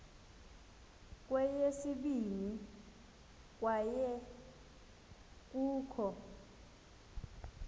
kweyesibini kwaye kukho